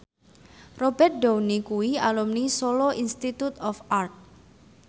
Robert Downey kuwi alumni Solo Institute of Art